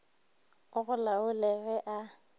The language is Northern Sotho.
o go laole ge a